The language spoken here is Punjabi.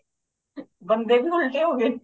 ਬੰਦੇ ਵੀ ਉਲਟੇ ਹੋ ਗਏ ਨੇ